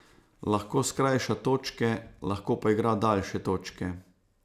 Lahko skrajša točke, lahko pa igra daljše točke.